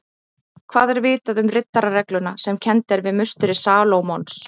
Hvað er vitað um riddararegluna sem kennd er við musteri Salómons?